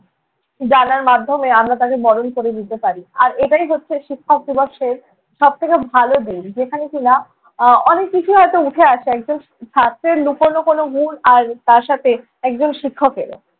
জানার মাধ্যমে আমরা তাঁকে বরণ করে নিতে পারি। আর এটাই হচ্ছে শিক্ষক দিবসের সব থেকে ভালো দিক। যেখানে কি-না আহ অনেক কিছুই হয়ত উঠে আসে। একজন ছাত্রের লুকোনো কোনো গুণ আর তাঁর সাথে একজন শিক্ষকেরও